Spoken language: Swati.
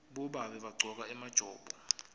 bobabe bagcoka emajobo